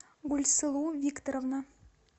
гульсылу викторовна